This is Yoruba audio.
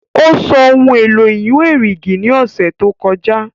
Ó sọ ohun èlò ìyún erìgì ní ọ̀sẹ̀ tó kọjá